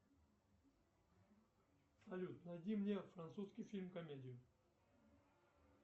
салют найди мне французский фильм комедию